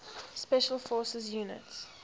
special forces units